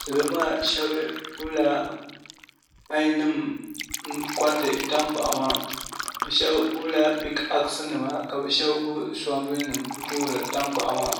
salo maa shab gbubila pai nim n koriti tankpaɣu maa bi shab gbunila pik ax nima ka bi shab gbubi soobuli n toori tankpaɣu maa